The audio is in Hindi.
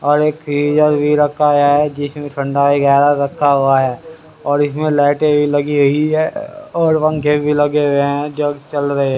और एक फ्रिजर भी रखा है जिसमें ठंडा वगैरा रखा हुआ है और इसमें लाइटें भी लगी हुई है और पंखे भी लगे हुए हैं जो चल रहे--